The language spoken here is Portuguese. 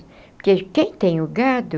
Porque quem tem o gado,